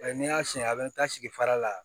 N'i y'a siɲɛ a bɛ taa sigi fara la